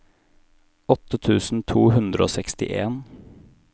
åtte tusen to hundre og sekstien